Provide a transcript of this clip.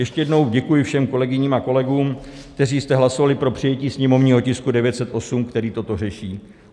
Ještě jednou děkuji všem kolegyním a kolegům, kteří jste hlasovali pro přijetí sněmovního tisku 908, který to řeší.